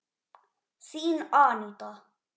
Þín, Aníta.